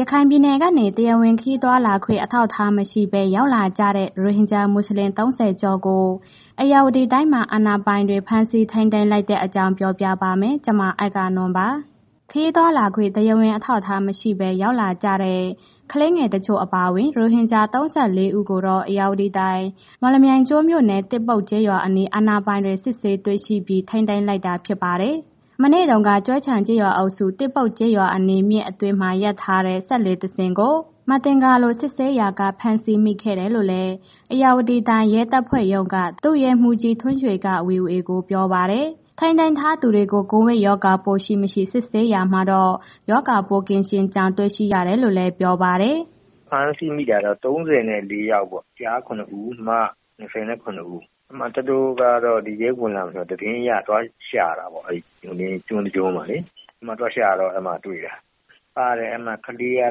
ရခိုင်ပြည်နယ်ကနေ တရားဝင် ခရီးသွားခွင့် အထောက်အထားမရှိဘဲ ရောက်လာကြတဲ့ ရိုဟင်ဂျာမူဆလင် ၃၀ ကျော်ကို ဧရာဝတီတိုင်းမှာ အာဏာပိုင်တွေ ဖမ်းဆီးထိန်းသိမ်းလိုက်တဲ့အကြောင်းကို ဗွီအိုအေမြန်မာပိုင်း သတင်းထောက် မအဂ္ဂနွန်က ပြောပြပါမယ်။ ခရီးသွားလာခွင့် တရားဝင်အထောက်အထားမရှိဘဲ ရောက်လာကြတဲ့ ကလေးငယ်တချို့ အပါအဝင် ရိုဟင်ဂျာ ၃၄ ဦး ကိုတော့ ဧရာဝတီတိုင်း မော်လမြိုင်ကျွန်းမြို့နယ် သစ်ပုတ်ကျေးရွာအနီး အာဏာပိုင်တွေ စစ်ဆေးတွေ့ရှိပြီး ထိန်းသိမ်းလိုက်တာဖြစ်ပါတယ်။ မနေ့တုန်းက ကျွဲခြံကျေးရွာအုပ်စု၊ သစ်ပုတ်ကျေးရွာအနီး မြစ်အတွင်း ရပ်ထားတဲ့ စက်လှေတစင်းကို မသင်္ကာလို့ စစ်ဆေးရာက ဖမ်းဆီးမိခဲ့တာလို့လည်း ဧရာဝတီတိုင်း ရဲတပ်ဖွဲ့ရုံးက ဒုရဲမှူးကြီးထွန်းရွှေက ဗွီအိုအေကို ပြောပါတယ်။ ထိန်းသိမ်းထားသူတွေကို ကိုဗစ်ရောဂါပိုး ရှိမရှိ စစ်ဆေးရာမှာတော့ ရောဂါပိုးကင်းရှင်းကြောင်း တွေ့ရတယ်လို့လည်း ပြောပါတယ်။ “ဖမ်းဆီးမိတာတော့ ၃၄ ယောက်ပေါ့။ ကျား ၇ ဦး၊ မ ၂၇ ဦး၊ သူတို့ကတော့ ဒီထဲဝင်လာမယ်ဆိုတာ သတင်းအရ သွားရှာတာပေါ့။ ကျွန်းတစ်ကျွန်းမှာ သွားရှာတော့ အဲဒီမှာ တွေ့တာပါ။ ကလေးက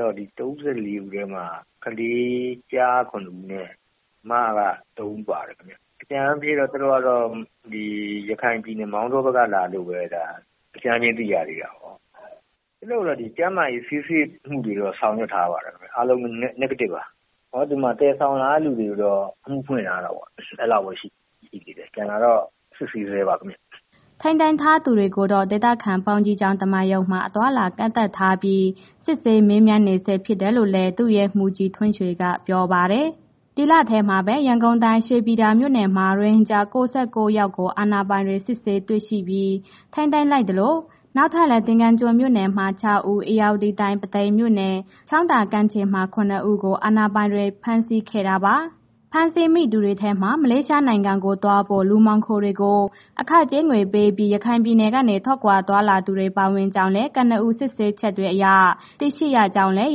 တော့ ၃၄ ဦးထဲမှာ ကလေး ကျား ၇ ဦးနဲ့ မ က ၃ ဦးပါတယ်ခင်ဗျာ။အကြမ်းဖျင်းက သူတို့ကတော့ ရခိုင်ပြည်နယ် မောင်တောဘက်က လာတယ်လို့ပဲ အကြမ်းဖျင်းသိရသေးတာပေ့ါ။ သူတို့ကိုတော့ ကျန်းမာရေးဆေးစစ်မှုတွေတော့ ဆောင်ရွက်ထားပါတယ်ခင်ဗျ။ အားလုံး Negative ပါ။ သယ်ဆောင်လာတဲ့ လူတွေကိုတော့ အဖွင့်မှုထားတယ်ပေါ့၊ အဲ့ဒီလောက်ပဲ ရှိတယ်သေးတယ်၊ ကျန်တာက စစ်ဆေးဆဲပါခင်ဗျာ။” ထိန်းသိမ်းထားသူတွေကိုတော့ ဒေသခံဘုန်းကြီးကျောင်း ဓမ္မရုံမှာ အသွားအလာကန့်သတ်ထားပြီး စစ်ဆေးမေးမြန်းနေဆဲ ဖြစ်တယ်လို့လည်း ဒုရဲမှူးကြီးထွန်းရွှေက ပြောပါတယ်။ ဒီလထဲမှာပဲ ရန်ကုန်တိုင်း ရွှေပြည်သာမြို့နယ်မှာ ရိုဟင်ဂျာ ၉၉ ယောက်ကို အာဏာပိုင်တွေ စစ်ဆေးတွေ့ရှိ ထိန်းသိမ်းလိုက်သလို၊ နောက်ထပ်လည်း သင်္ကန်းကျွန်းမြို့နယ်မှာ ၆ ဦး၊ ဧရာဝတီတိုင်း ပုသိမ်မြို့နယ် ချောင်းသာကမ်းခြေမှာ ၇ ဦးကို အာဏာပိုင်တွေ ဖမ်းဆီးခဲ့တာပါ။ ဖမ်းဆီးမိသူတွေထဲမှာ မလေးရှားနိုင်ငံကိုသွားဖို့ လူမှောင်ခိုတွေကို အခကြေးငွေပေးပြီး ရခိုင်ပြည်နယ်ကနေ ထွက်ခွာလာသူတွေ ပါဝင်ကြောင်းလည်း ကနဦးစစ်ဆေးချက်တွေအရ သိရှိရကြောင်းလည်း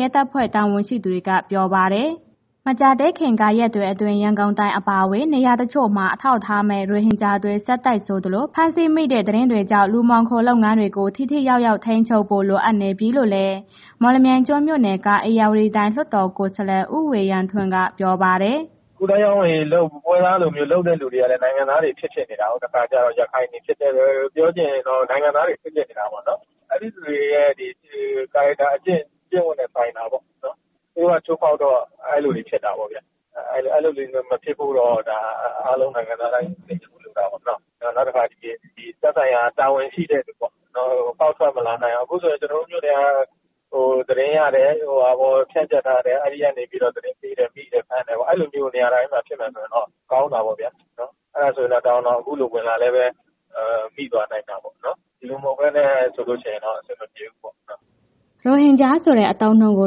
ရဲတပ်ဖွဲ့ တာဝန်ရှိသူတွေက ပြောပါတယ်။ မကြာသေးခင် ရက်တွေအတွင်း ရန်ကုန်တိုင်း အပါအဝင် နေရာတချို့မှာ အထောက်အထားမဲ့ ရိုဟင်ဂျာတွေ ဆက်တိုက်ဆိုသလို ဖမ်းဆီးမိတဲ့ သတင်းတွေကြောင့် လူမှောင်ခိုလုပ်ငန်းတွေကို ထိထိရောက်ရောက် ထိန်းချုပ်ဖို့ လိုအပ်နေပြီလို့လည်း မော်လမြိုင်ကျွန်းမြို့နယ်က ဧရာဝတီတိုင်း လွှတ်တော်ကိုယ်စားလှယ် ဦးဝေယံထွန်း ကပြောပါတယ်။ “ကူးသန်းရောင်းဝယ်ရေးလုပ် ပွဲစားလိုမျိုးလုပ်တဲ့ လူတွေကလည်း နိုင်ငံသားတွေ ဖြစ်ဖြစ်နေတာပေါ့၊ တခါကျတော့ ရခိုင်တွေဖြစ်တတ်တယ်။ ပြောချင်တာတော့ နိုင်ငံသားတွေ ဖြစ်ဖြစ်နေတာပေ့ါနော်။ အဲ့ဒီလူတွေရဲ့ character အကျင့်ဝတ်နဲ့ဆိုင်တာပေါ့နော်။ သူတို့က ချိုးဖောက်တော့ အဲ့ဒီလိုတွေဖြစ်တာပေါ့ဗျ။ အဲ့ဒီလိုမျိုး မဖြစ်ဖို့တော့ အားလုံးနိုင်ငံသားတိုင်း ထိန်းချုပ်မှရမှာပေါ့နော်။ နောက်တစ်ခါသက်ဆိုင်ရာ တာဝန်ရှိသူပေါ့... ဖောက်ထွက်မလာနိုင်အောင် အခုကျနော်တို့ မြို့နယ်က သတင်းရတယ်။ အဲ့ဒီကနေပြီးတော့ သတင်းပေးတယ်၊ မိတယ်၊ ဖမ်းတယ်။ အဲ့ဒီနေရာဖြစ်မယ်ဆိုရင် ကောင်းတယ်ပေါ့ဗျာ။ အဲ့ဒါဆိုရင်တော့ တော်ရုံတန်ရုံ အခုလိုဝင်လာလည်းပဲ မိသွားနိုင်တယ်။ ဒီလိုမဟုတ်ဘဲနဲ့ဆိုရင် အဆင်မပြေဘူးပေါ့နော်။” ရိုဟင်ဂျာဆိုတဲ့ အသုံးအနှုန်းကို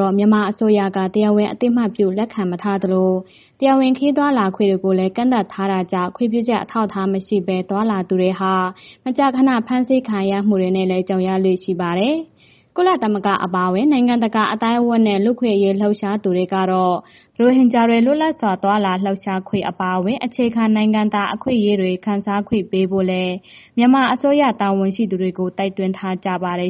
တော့ မြန်မာအစိုးရက တရားဝင် အသိအမှတ်ပြု လက်ခံမထားသလို၊ တရားဝင် ခရီးသွားလာခွင့်တွေကိုလည်း ကန့်သတ်ထားတာကြောင့် ခွင့်ပြုချက်အထောက်အထားမရှိဘဲ သွားလာသူတွေဟာ မကြာခဏ ဖမ်းဆီးခံရမှုတွေနဲ့လည်း ကြုံရလေ့ရှိပါတယ်။ ကုလသမဂ္ဂ အပါအဝင် နိုင်ငံတကာ အသိုင်းအဝန်းနဲ့ လူ့အခွင့်အရေး လှုပ်ရှားသူတွေကတော့ ရိုဟင်ဂျာတွေ လွတ်လပ်စွာ သွားလာလှုပ်ရှားခွင့် အပါအဝင် အခြေခံနိုင်ငံသား အခွင့်အရေးတွေ ခံစားခွင့်ပေးဖို့လည်း မြန်မာအစိုးရတာဝန်ရှိသူတွေကို တိုက်တွန်းထားကြပါတယ်